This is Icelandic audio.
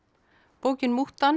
bókin